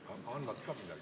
Annad ka midagi või?